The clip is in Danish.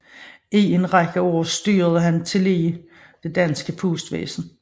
I en række af år styrede han tillige det danske postvæsen